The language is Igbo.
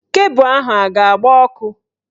Kebụ ahụ a ga-agba ọkụ?